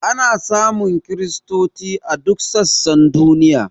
Ana samun kristoci a duk sassan duniya.